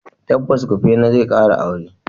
Tabbas, Kufena zai kara aure.